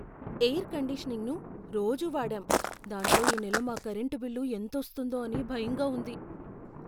Air కండిషనింగ్ను రోజూ వాడాం, దాంతో ఈ నెల మా కరెంటు బిల్లు ఎంతోస్తుందో అని భయంగా ఉంది.